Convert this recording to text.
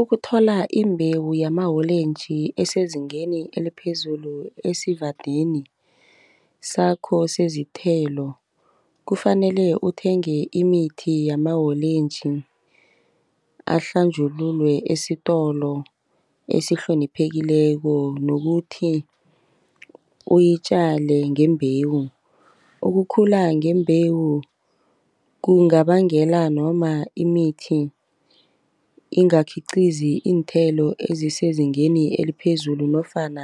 Ukuthola imbewu yama-orange esezingeni eliphezulu esivandeni sakho sezithelo, kufanele uthenge imithi yama-orange ahlanjululwe esitolo esihloniphekileko, nokuthi uyitjale ngembewu. Ukukhula ngembewu kungabangela noma imithi ingakhiqizi iinthelo ezisezingeni eliphezulu nofana